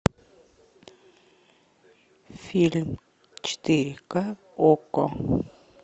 фильм четыре ка окко